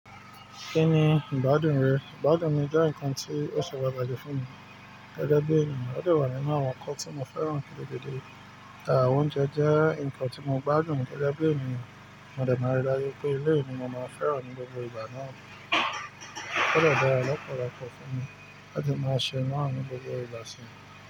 Kí ni ìgbádùn rẹ? Ìgbádùn mi jẹ́ nǹkan tí ó ṣe pàtàkì fún mi gẹ́gẹ́ bí ènìyàn. Ó dè wà nínú àwọn nǹkan tí mo fẹ́ràn ní gidigidi. Oúnjẹ jẹ́ nǹkan tí mo gbádùn gégé bí ènìyàn, mo dè máa n rí i dájú pé elé myini mo máa fẹ́ràn ní gbogbo ìgbà náà. Ó gbọ́dọ̀ dára lọ́pọ̀lọpọ̀ fún mi láti máa ṣe náà ní gbogbo ìgbà sí.